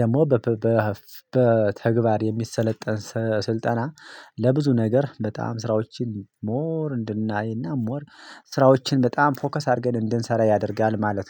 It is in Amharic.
ደግሞ በተግባር የሚሰለጠን ስልጠና ለብዙ ነገር በጣም ስራዎችን ሞር እንድናይና ሞር ስራዎችን በጣም ፎከስ አድርገን እንድንሰራ ያደርጋል። ማለት ነው